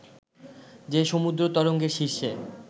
যে সমুদ্র তরঙ্গের শীর্ষে